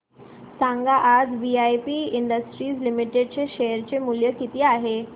सांगा आज VIP industries limited चे शेअर चे मूल्य किती आहे